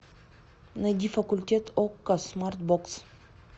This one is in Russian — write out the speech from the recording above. найди факультет окко смарт бокс